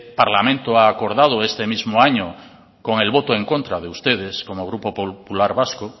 parlamento ha acordado este mismo año con el voto en contra de ustedes como grupo popular vasco